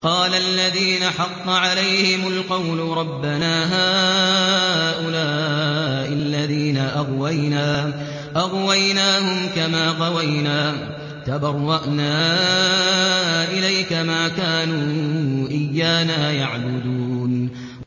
قَالَ الَّذِينَ حَقَّ عَلَيْهِمُ الْقَوْلُ رَبَّنَا هَٰؤُلَاءِ الَّذِينَ أَغْوَيْنَا أَغْوَيْنَاهُمْ كَمَا غَوَيْنَا ۖ تَبَرَّأْنَا إِلَيْكَ ۖ مَا كَانُوا إِيَّانَا يَعْبُدُونَ